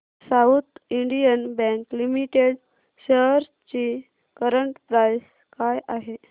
south Indian Bank Limited shares ची current price काय आहे